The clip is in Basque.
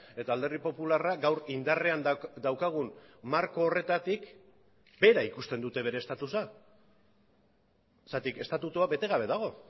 eta alderdi popularra gaur indarrean daukagun marko horretatik bera ikusten dute bere estatusa zergatik estatutua bete gabe dago